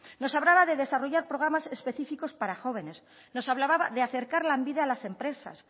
nos hablaba de desarrollar programas específicos para jóvenes nos hablaba de acercar lanbide a las empresas